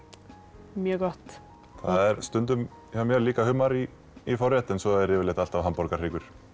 mjög gott það er stundum hjá mér líka humar í í forrétt svo er yfirleitt alltaf hamborgarahryggur